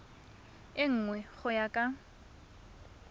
e nngwe go ya ka